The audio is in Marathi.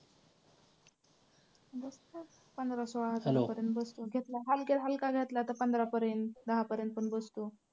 पंधरा सोळा हजारापर्यंत बसतं, हलक्यात हलका घेतला तर पंधरा पर्यंत दहा पर्यंत पण बसतो.